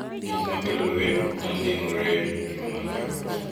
Gik ma kelo lweny ok nyal geng’ore e ngima mar joot